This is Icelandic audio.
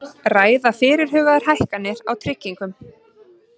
Ræða fyrirhugaðar hækkanir á tryggingum